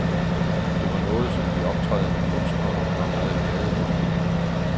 Det var noget, som de optrædende kunstnere var meget glade for.